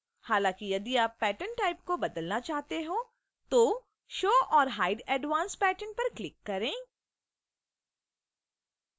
हालांकि यदि आप patterntype को बदलना चाहते हैं तो show/hide advanced pattern पर click करें